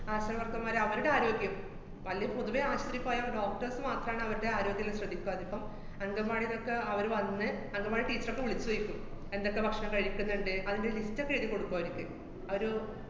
ആശാ വര്‍ക്കര്‍മാര്, അവരുടെ ആരോഗ്യം വല്ല പൊതുവെ ആശൂത്രീ പോയാ doctors മാത്രാണ് അവരുടെ ആരോഗ്യെല്ലാം ശ്രദ്ധിക്ക്വ. അതിപ്പം അംഗന്‍വാടീലൊക്കെ അവര് വന്ന് അംഗന്‍വാടി ടീച്ചറൊക്കെ വിളിച്ചോയ്ക്കും, എന്തൊക്കെ ഭക്ഷണം കഴിക്ക്ന്ന്ണ്ട്, അതിന്‍റെ list ഒക്കെ എഴുതി കൊടുക്കും അവര്ക്ക്. അവര്